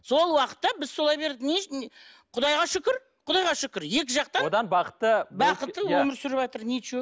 сол уақытта біз солай бердік құдайға шүкір құдайға шүкір екі жақтан одан бақытты бақытты өмір сүріватыр ничего